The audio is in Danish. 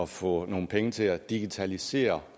få nogle penge til at digitalisere